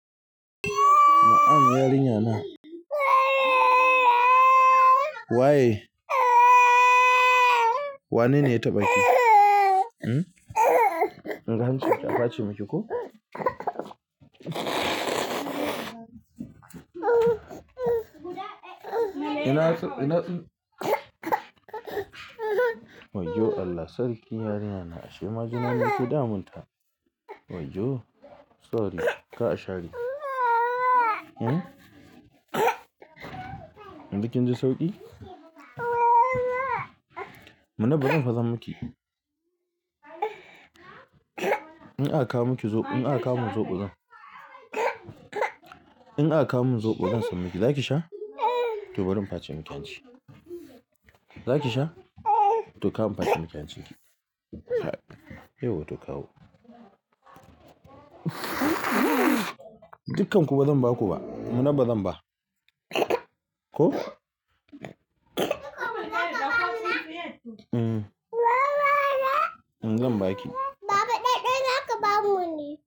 Na'am yarinya na. Waye? Wanene ya taɓa ki? Mm. In ka ansa ta ka facci maki ko? Inason, inason waye? Allah sarki yarinyana ashe majina ne ke damun ta. Waye yoo? Sorry ka ashade. Mm. Yanzu kin ji sauƙi? Muna bazan fasa maki. In aka kawo maki zoɓo, in aka kawo min zoɓo zan. In aka kawo min zoɓo zan san miki. Zaki sha? To bari in face miki hanci. Zaki sha? To kawo n'face miki yanzu. Hai, yauwa to kawo. Dukanku ba zan ba ku ba. Muna ba zan ba. Ko? Mm. Mm zan ba ki. Baba ɗaɗɗan haka ba mu ne.